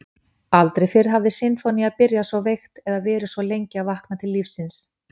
Aldrei fyrr hafði sinfónía byrjað svo veikt eða verið svo lengi að vakna til lífsins.